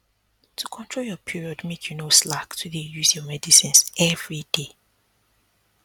to control your period make you no slack to dey use your medicines everyday